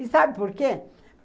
E sabe por quê?